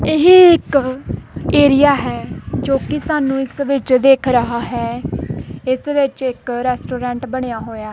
ਇਹ ਇੱਕ ਏਰੀਆ ਹੈ ਜੋ ਕਿ ਸਾਨੂੰ ਇਸ ਵਿੱਚ ਦੇਖ ਰਹਾ ਹੈ ਇਸ ਵਿੱਚ ਇੱਕ ਰੈਸਟੋਰੈਂਟ ਬਣਿਆ ਹੋਇਆ।